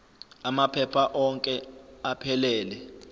amaphepha onke aphelele